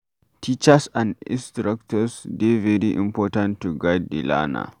Teachers and instructors dey very important to guide di learner